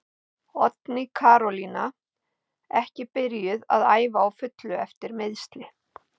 Oddný Karolína ekki byrjuð að æfa á fullu eftir meiðsli.